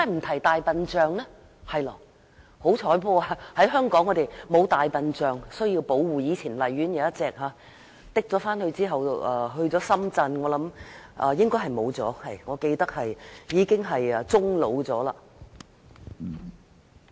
幸好香港沒有大象需要保護，以前荔園動物園有一隻，後來運到深圳，記憶所及，該大象應該已經終老。